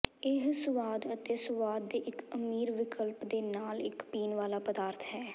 ਇਹ ਸੁਆਦ ਅਤੇ ਸੁਆਦ ਦੇ ਇੱਕ ਅਮੀਰ ਵਿਕਲਪ ਦੇ ਨਾਲ ਇੱਕ ਪੀਣ ਵਾਲਾ ਪਦਾਰਥ ਹੈ